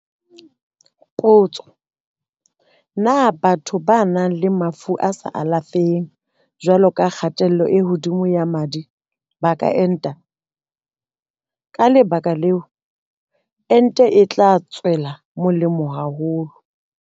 Potso- Na batho ba nang le mafu a sa alafeheng jwalo ka kgatello e hodimo ya madi ba ka enta? Ka le baka leo, ente e tla ba tswela molemo haholo.